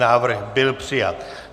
Návrh byl přijat.